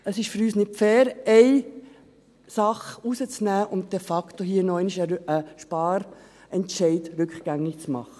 Es ist für uns nicht fair, eine Sache herauszunehmen und de facto einen Sparentscheid rückgängig zu machen.